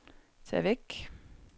tag væk